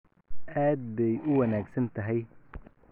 Aad bay u wanaagsan tahay.